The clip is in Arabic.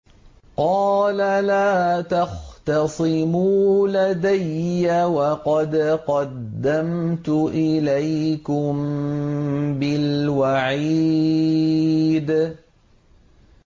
قَالَ لَا تَخْتَصِمُوا لَدَيَّ وَقَدْ قَدَّمْتُ إِلَيْكُم بِالْوَعِيدِ